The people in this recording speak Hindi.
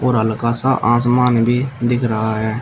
और हल्का सा आसमान भी दिख रहा है।